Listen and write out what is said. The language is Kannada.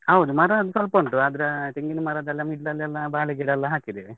ಹೌದು ಮರ ಒಂದ್ ಸ್ವಲ್ಪ ಉಂಟು, ಆದ್ರೆ ತೆಂಗಿನ್ ಮರದೆಲ್ಲ middle ಲಲೆಲ್ಲ ಬಾಳೆಗಿಡ ಎಲ್ಲ ಹಾಕಿದ್ದೇವೆ.